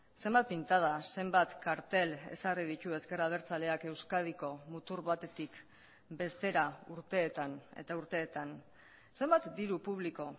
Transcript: zenbat pintada zenbat kartel ezarri ditu ezker abertzaleak euskadiko mutur batetik bestera urteetan eta urteetan zenbat diru publiko